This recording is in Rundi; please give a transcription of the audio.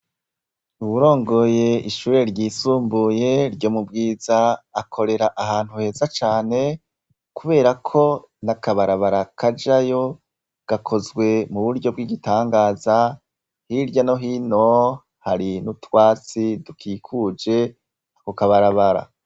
Uwurongoye ishure ryisumbuye ryo mu Bwiza akorera ahantu heza cane kuberako n'akabarabara kajayo gakozwe mu buryo bw'igitangaza, hirya no hino hari n'utwatsi dukikuje ako kabarabara.